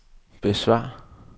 besvar